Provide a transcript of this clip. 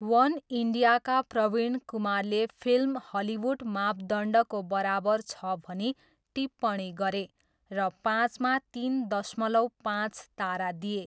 वन इन्डियाका प्रवीण कुमारले film Hollywood मापदण्डको बराबर छ भनी टिप्पणी गरे र पाँचमा तिन दशमलव पाँच तारा दिए।